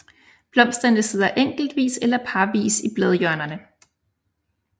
Blomsterne sidder enkeltvis eller parvis i bladhjørnerne